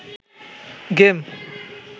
game